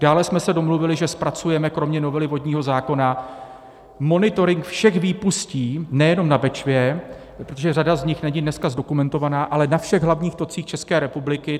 Dále jsme se domluvili, že zpracujeme kromě novely vodního zákona monitoring všech výpustí, nejenom na Bečvě, protože řada z nich není dneska zdokumentovaná, ale na všech hlavních tocích České republiky.